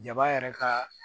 Jaba yɛrɛ kaa